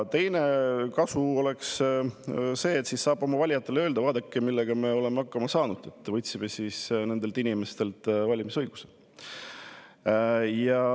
Teiseks tooks kasu see, et siis saab oma valijatele öelda, et vaadake, millega me oleme hakkama saanud, võtsime nendelt inimestelt valimisõiguse.